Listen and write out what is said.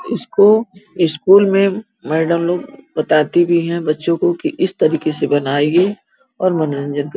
इसको स्कूल में मैडम लोग बताती भी हैं बच्चो को की इस तरीके से बनाइये और मनोरंजन क --